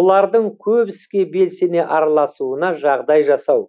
олардың көп іске белсене араласуына жағдай жасау